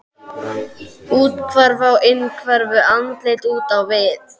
Úthverfa á innhverfu, andlit út á við.